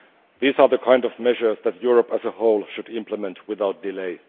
These are the kinds of measures that Europe as a whole should implement without delay.